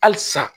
Hali sisan